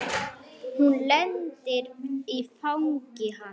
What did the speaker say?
Hún lendir í fangi hans.